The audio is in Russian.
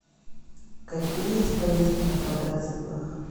какие есть поездки на квадроциклах